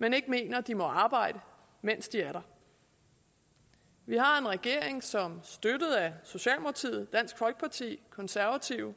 men ikke mener de må arbejde mens de er der vi har en regering som støttet af socialdemokratiet og dansk folkeparti konservative